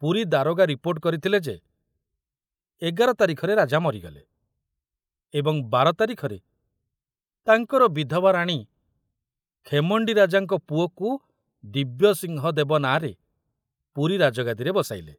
ପୁରୀ ଦାରୋଗା ରିପୋର୍ଟ କରିଥିଲେ ଯେ ଏଗାର ତାରିଖରେ ରାଜା ମରିଗଲେ ଏବଂ ବାର ତାରିଖରେ ତାଙ୍କର ବିଧବା ରାଣୀ ଖେମଣ୍ଡି ରାଜାଙ୍କ ପୁଅକୁ ଦିବ୍ୟସିଂହ ଦେବ ନାଁରେ ପୁରୀ ରାଜଗାଦିରେ ବସାଇଲେ।